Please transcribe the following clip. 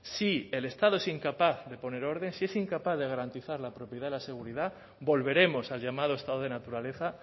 si el estado es incapaz de poner orden si es incapaz de garantizar la propiedad y la seguridad volveremos al llamado estado de naturaleza